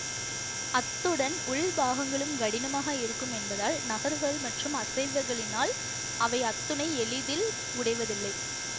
அத்துடன் உள்பாகங்களும் கடினமாக இருக்கும் என்பதால் நகர்வுகள் மற்றும் அசைவிகளினால் அவை அத்துணை எளிதில் உடைவதில்லை